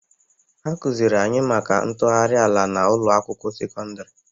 Akụzịrị anyị maka ntụgharị ala n'ụlọ akwụkwọ sekọndrị